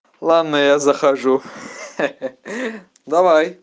ладно я захожу ха-ха давай